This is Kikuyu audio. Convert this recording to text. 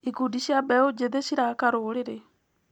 Ikundi cia mbeũ njĩthĩ ciraka rũrĩrĩ.